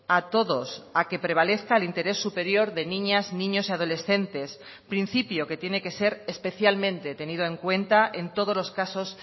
a todos a que prevalezca el interés superior de niñas niños y adolescentes principio que tiene que ser especialmente tenido en cuenta en todos los casos